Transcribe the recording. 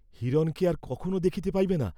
হিরণকে আর কখনও দেখিতে পাইবে না!